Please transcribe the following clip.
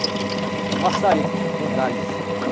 Com maçarico, com gás.